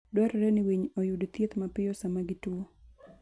Dwarore ni winy oyud thieth mapiyo sama gituwo.